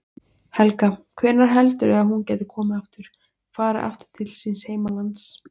Helga: Hvenær heldurðu að hún geti komið aftur, farið aftur til síns heimalands?